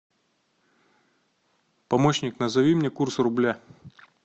помощник назови мне курс рубля